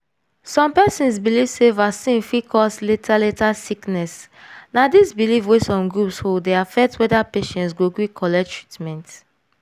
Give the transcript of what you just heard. some persons believe sey vaccine fit cause later later sickness na this belief wey some groups hold dey affect whether patients go gree collect treatment.